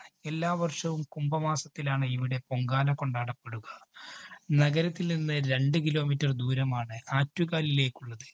എല്ലാ വര്‍ഷവും കുംഭ മാസത്തിലാണ് ഇവിടെ പൊങ്കാല കൊണ്ടാടപ്പെടുക. നഗരത്തില്‍ നിന്ന് രണ്ട് kilometer ദൂരമാണ് ആറ്റുകാലിലേക്കുള്ളത്.